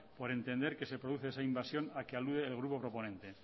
por entender que se produce esa invasión al que alude el grupo proponente